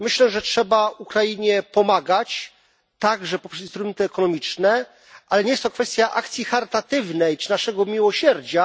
Myślę, że trzeba Ukrainie pomagać, także poprzez instrumenty ekonomiczne, ale nie jest to kwestia akcji charytatywnej czy naszego miłosierdzia.